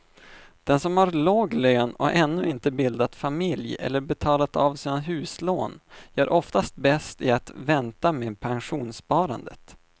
Den som har låg lön och ännu inte bildat familj eller betalat av sina huslån gör oftast bäst i att vänta med pensionssparandet.